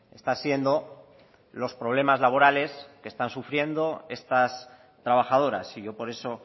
está siendo los problemas laborales que están sufriendo estas trabajadoras y yo por eso